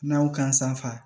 N'aw kan safa